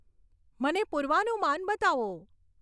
મને પૂર્વાનુમાન બતાવો